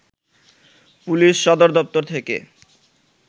police সদরদপ্তর থেকে